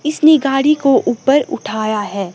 इसने गाड़ी को ऊपर उठाया है।